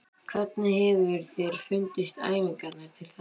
Hvernig hefur þér fundist æfingarnar til þessa?